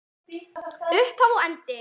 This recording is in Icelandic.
Upphaf og endi.